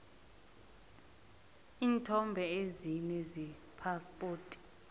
iinthombe ezine zephaspoti